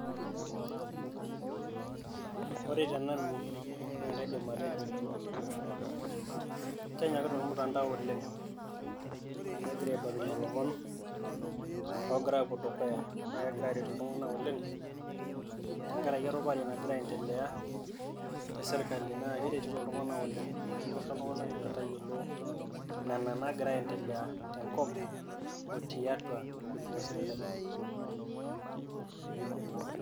Ore tenanu naa akaidim atejo kenyokita ormutandao oleng' amu egira aibalunyie ilomon oogira aapuo dukuya, naa kegira aaretu iltung'anak oleng' tenkaraki erupare nagira aiendelea te sirkali naa keretito iltung'anak oleng', amu kisho iltung'anak metayiolo nena naagira aiendelea tenkop o tiatwa intokitin esirkali.